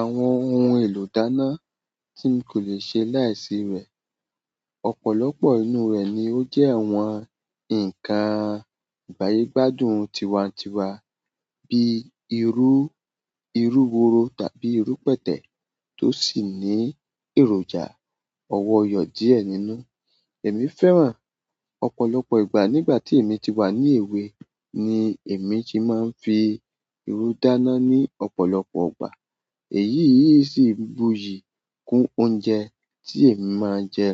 Àwọn ohun èlò dáná tí n kò le ṣe láìsí rẹ̀. Ọ̀pọ̀lọpọ̀ inú rẹ̀ ni ó jẹ́ àwọn ǹkan ìgbàyégbádùn tiwańtiwa bíi irú, irú woro tàbí irú pẹ̀tẹ̀ tó sì ní èròjà ọwọ́yọ̀ díẹ̀ nínú. Èmi fẹ́ràn ọ̀pọ̀lọpọ̀ ìgbà nígbà tí èmi ti wà ní èwe ni èmi ti máa ń fi irú dáná ní ọ̀pọ̀lọpọ̀ ọgbà. Èyí yìí sì buyì kún oúnjẹ tí èmi máa ń jẹ.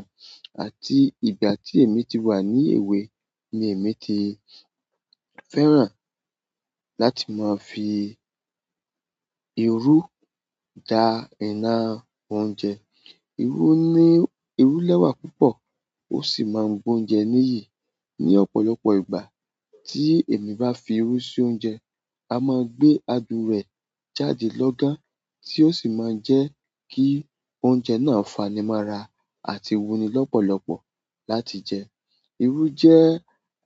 Àti ìgbà tí èmi ti wà ní èwe ni èmi ti fẹ́ràn láti máa fi irú ja iná oúnjẹ. Irú ní irú lẹ́wà púpọ̀ ó sì máa ń gbé oúnjẹ níyì. Ni ọ̀pọ̀lọpọ̀ ìgbà tí èmi bá fi irú sí oúnjẹ, a máa gbé adùn rẹ̀ jáde lọ́gán, tí ó sì máa ń jẹ́ kí oúnjẹ náà fani mora àti wuni lọ́pọ̀lọpọ̀ láti jẹ. Irú jẹ́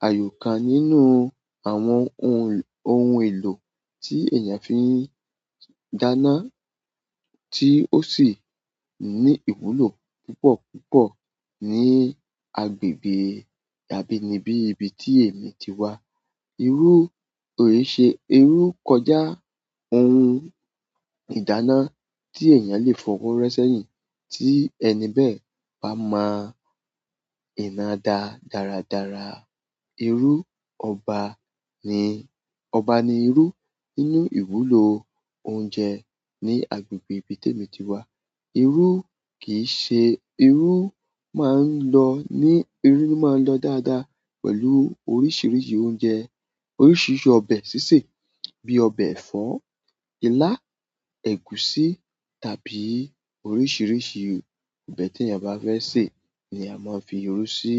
àyò kan nínú àwọn ohun, ohun èlò tí èèyàn fi ń dáná tí ó sì ní ìwúlò púpọ̀púpọ̀ ní agbègbè abínibí ibi tí èmi ti wà. Irú ò ṣe irú kọjá ohun ìdáná tí èèyàn lè fọwọ́ ro sẹ́yìn tí ẹni bẹ́ẹ̀ bá mọ ìnáda dáradára. Irú ọba ni, ọba ni irú nínú ìwúlò oúnjẹ ní agbègbè ibi tí èmi ti wà. Irú kì í ṣe irú máa ń lọ ní irú ni máa ń lọ dáadáa pẹ̀lú oríṣiríṣi oúnjẹ, oríṣiríṣi ọbẹ̀ sísè bíi ọbẹ̀ ẹ̀fọ́, ilá, ẹ̀gúsí tàbí oríṣiríṣi ọbẹ̀ tí èèyàn bá fẹ́ sè ni a máa ń fi irú sí.